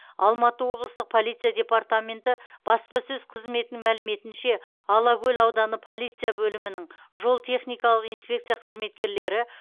алматы облыстық полиция департаменті баспасөз қызметінің мәліметінше алакөл ауданы полиция бөлімінің жол техникалық инспекция қызметкерлері